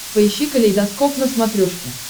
поищи калейдоскоп на смотрешке